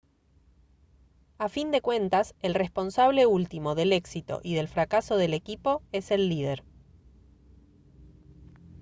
a fin de cuentas el responsable último del éxito y del fracaso del equipo es el líder